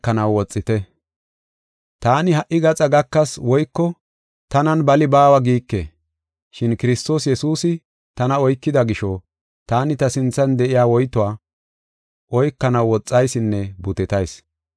Taani ha77i gaxa gakas woyko tanan bali baawa giike. Shin Kiristoos Yesuusi tana oykida gisho taani ta sinthan de7iya woytuwa oykanaw woxaysinne butetayis.